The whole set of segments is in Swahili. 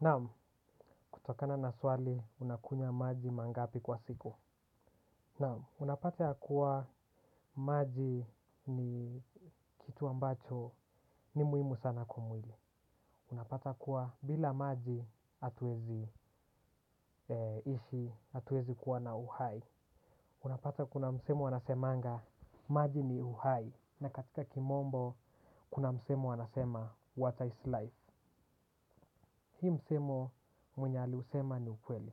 Naam kutokana na swali unakunya maji mara ngapi kwa siku. Naam unapata ya kuwa maji ni kitu ambacho ni muhimu sana kwa mwili unapata kuwa bila maji hatuezi ishi hatuezi kuwa na uhai. Unapata kuna msemo wanasemanga maji ni uhai na katika kimombo kuna msemo wanasema water is life. Hii msemo mwenye aliusema ni ukweli.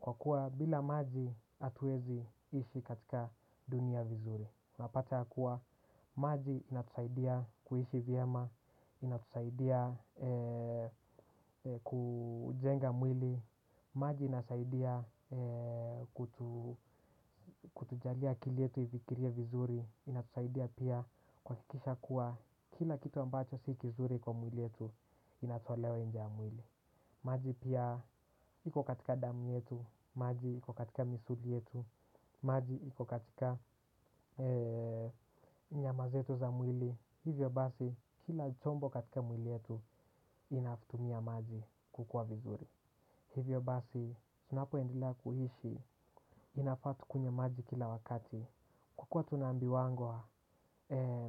Kwa kuwa bila maji hatuezi ishi katika dunia vizuri unapata kuwa maji inatusaidia kuishi vyema. Inatusaidia kujenga mwili. Maji inasaidia kutujalia akili yetu ifikirie vizuri. Inatusaidia pia kuhakikisha kuwa kila kitu ambacho si kizuri kwa mwili yetu inatolewa nje ya mwili maji pia iko katika damu yetu maji iko katika misuli yetu maji iko katika nyama zetu za mwili hivyo basi kila chombo katika mwili wetu inatumia maji kukua vizuri hivyo basi tunapo endele kuishi inafaa tukunywe maji kila wakati. Kukua tunaambiwangwa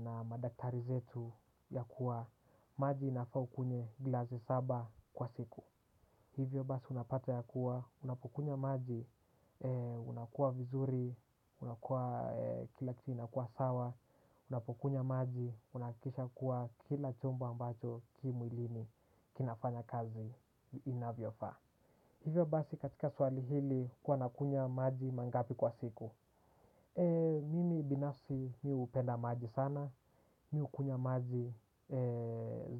na madaktari zetu ya kuwa maji inafaa ukunywe glasi saba kwa siku. Hivyo basi unapata ya kuwa unapokunya maji unakua vizuri unakua kila kitu inakua sawa unapokunya maji unahakikisha kuwa kila chombo ambacho ki mwilini kinafanya kazi inavyofaa. Hivyo basi katika swali hili huwa nakunywa maji mangapi kwa siku. Mimi binafsi mimi hupenda maji sana. Mimi hukunywa maji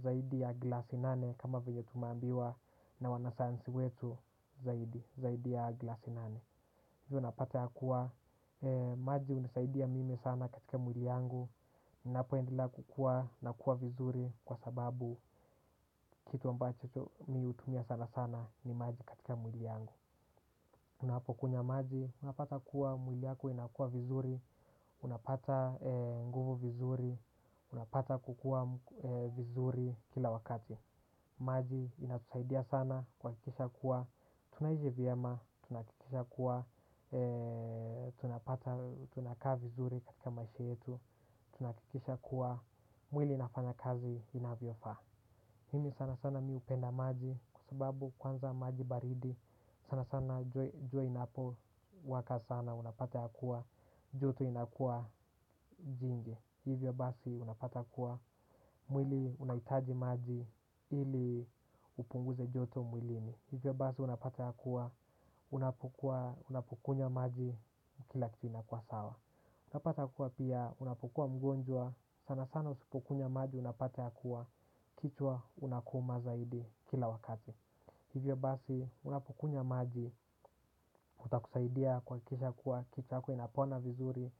zaidi ya glasi nane kama vyenye tunaambiwa na wanasayansi wetu zaidi ya glasi nane. Hivyo unapata ya kuwa maji hunisaidia mimi sana katika mwili yangu ninapo endelea kukua nakuwa vizuri kwa sababu kitu ambacho mimi hutumia sana sana ni maji katika mwili yangu. Unapokunya maji unapata kuwa mwili yako inakuwa vizuri unapata nguvu vizuri unapata kukua vizuri kila wakati maji inatusaidia sana kuhakikisha kuwa tunaishi vyema tunahakikisha kuwa tunakaa vizuri katika maisha yetu. Tunahakikisha kuwa mwili inafanya kazi inavyofaa mimi sana sana mimi hupenda maji. Kwa sababu kwanza maji baridi sana sana jua linapo waka sana unapata yakuwa joto inakua jingi hivyo basi unapata kuwa mwili unahitaji maji ili upunguze joto mwilini hivyo basi unapata yakuwa unapokunywa maji kila kitu inakua sawa. Unapata kua pia unapokuwa mgonjwa sana sana usipokunywa maji unapata yakuwa kichwa una kuma zaidi kila wakati. Hivyo basi unapokunywa maji itakusaidia kuhakikisha kuwa kichwa yako inapona vizuri.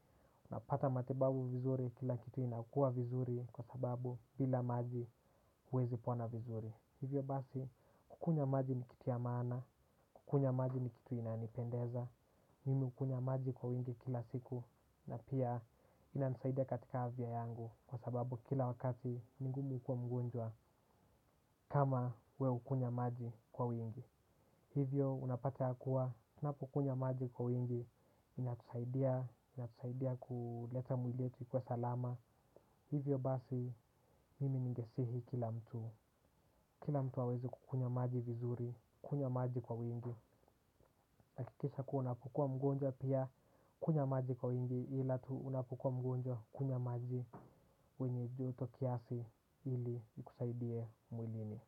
Unapata matibabu vizuri kila kitu inakua vizuri kwa sababu bila maji huwezi pona vizuri hivyo basi kukunywa maji nikitu ya maana kukunywa maji nikitu inanipendeza mimi hukunywa maji kwa wingi kila siku na pia inanisaidia katika afya yangu kwa sababu kila wakati ni vigumu kukuwa mgonjwa kama wewe hukunywa maji kwa wingi. Hivyo unapata ya kuwa unapukunya maji kwa wengi inatusaidia inatusaidia kuleta mwili wetu kuwa salama hivyo basi mimi ningesihi kila mtu kila mtu aweze kukunywa maji vizuri kunywa maji kwa wingi hakikisha kuwa unapokuwa mgonjwa pia kunywa maji kwa wingi ila tu unapokua mgonjwa kunywa maji wenye joto kiasi ili ukusaidie mwilini.